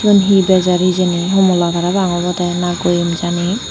he he bejer hijeni homola parapang obodey na goem jani.